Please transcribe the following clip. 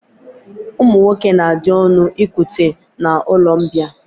Ụmụ nwoke na-adị ọnụ nkute n'ụlọmbịa